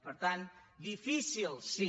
per tant difícil sí